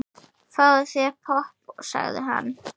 Fáðu þér popp, sagði hann.